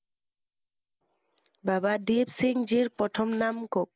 বাবা দিপসিংজীৰ প্ৰথম নাম কওক।